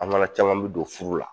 An kana caman mi don furu la